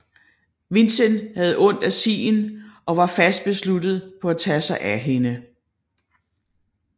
Vincent havde ondt af Sien og var fast besluttet på at tage sig af hende